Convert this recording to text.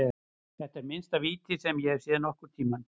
Þetta er minnsta víti sem ég hef séð nokkurntímann.